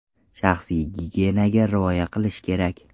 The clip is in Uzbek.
Shaxsiy gigiyenaga rioya qilish kerak.